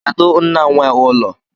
Kedu nna nwee ụlọ?